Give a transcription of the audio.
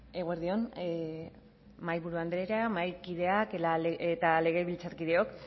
eguerdi on mahaiburu andrea mahaikideak eta legebiltzarkideok